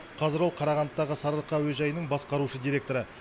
қазір ол қарағандыдағы сарыарқа әуежайының басқарушы директоры